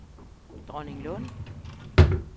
Dronninglund